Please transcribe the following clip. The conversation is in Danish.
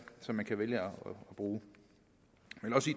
som man kan vælge at bruge